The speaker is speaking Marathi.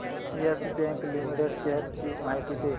येस बँक लिमिटेड शेअर्स ची माहिती दे